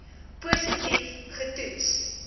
positief ge toets